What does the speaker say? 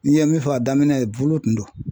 N'i ye min fɔ a daminɛ ye bolo kun